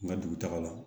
N ka dugutaga la